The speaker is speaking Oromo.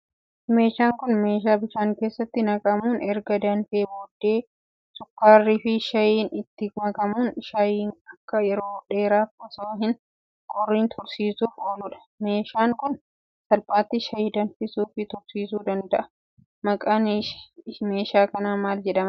Meeshaan Kun, meeshaa bishaan keessatti naqamuun, erga danfee booddee sukkaarrii fi shaayiin itti makamuun, shaayiin akka yeroo dheeraaf osoo hin qorriin tursiisuuf ooluudha. Meeshaan Kun, salphaatti shaayii danfisuu fi tursiisuu danda'a. Maqaan meeshaa kanaa maal jedhama?